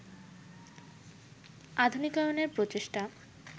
আধুনিকায়নের প্রচেষ্টা